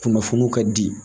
kunnafoniw ka di